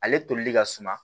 Ale tolili ka suma